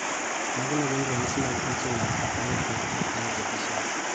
Mage magin ranyisi mag insulin like growth factor I deficiency